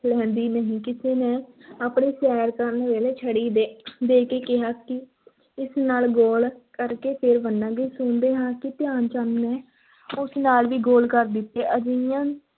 ਲਹਿੰਦੀ ਨਹੀਂ, ਕਿਸੇ ਨੇ ਆਪਣੀ ਸੈਰ ਕਰਨ ਵੇਲੇ ਛੜੀ ਦੇ ਦੇ ਕੇ ਕਿਹਾ ਕਿ ਇਸ ਨਾਲ ਗੋਲ ਕਰਕੇ, ਫਿਰ ਮੰਨਾਂਗੇ, ਸੁਣਦੇ ਹਾਂ ਕਿ ਧਿਆਨ ਚੰਦ ਨੇ ਉਸ ਨਾਲ ਵੀ ਗੋਲ ਕਰ ਦਿੱਤੇ, ਅਜਿਹੀਆਂ